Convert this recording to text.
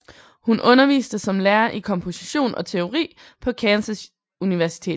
Hun underviste som lærer i komposition og teori på Kansas Universitet